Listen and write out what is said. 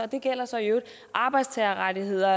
det gælder så i øvrigt arbejdtagerrettigheder